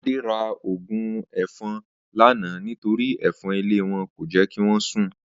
Adé ra ògùn èfo̩n lánàá nítorí è̩fo̩n ilé wo̩n kò jé̩ kí wó̩n sùn